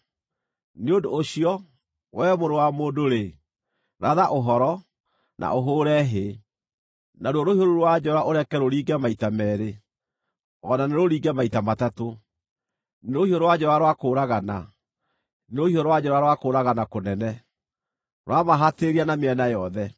“Nĩ ũndũ ũcio, wee mũrũ wa mũndũ-rĩ, ratha ũhoro, na ũhũũre hĩ. Naruo rũhiũ rũu rwa njora ũreke rũringe maita meerĩ, o na nĩrũringe maita matatũ. Nĩ rũhiũ rwa njora rwa kũũragana, nĩ rũhiũ rwa njora rwa kũũragana kũnene, rũramahatĩrĩria na mĩena yothe.